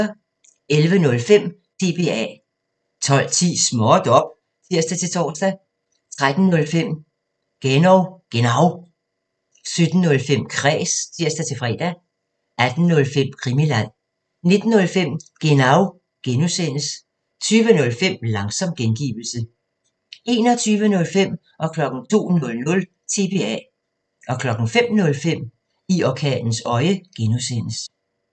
11:05: TBA 12:10: Småt op! (tir-tor) 13:05: Genau 17:05: Kræs (tir-fre) 18:05: Krimiland 19:05: Genau (G) 20:05: Langsom gengivelse 21:05: TBA 02:00: TBA 05:05: I orkanens øje (G)